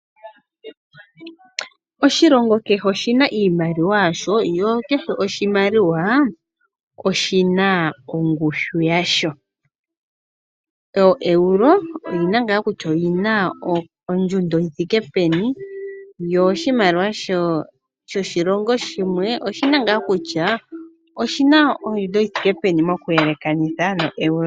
Oshilongo kehe oshi na iimaliwa yasho. Kehe oshimaliwa oshi na ongushu yasho. Oeuro oyi na ngaa kutya oyi na ondjundo yi thike peni. Oshimaliwa shoshilongo shimwe oshi na ngaa kutya oshi na ondjundo yi thike peni okuyelekanitha noeuro.